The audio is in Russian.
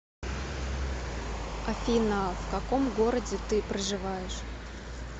афина в каком городе ты проживаешь